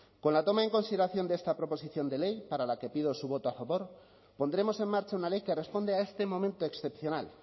con la toma en consideración de esta proposición de ley para la que pido su voto a favor pondremos en marcha una ley que responde a este momento excepcional